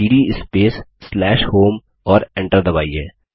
CD space home और Enter दबाइए